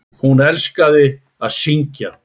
Hún elskaði að syngja.